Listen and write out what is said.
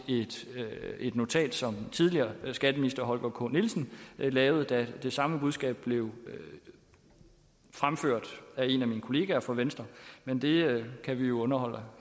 et notat som tidligere skatteminister holger k nielsen lavede da det samme budskab blev fremført af en af mine kollegaer fra venstre men det kan vi jo underholde